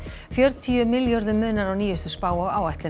fjörutíu milljörðum munar á nýjustu spá og áætlun